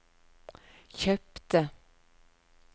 kjøpte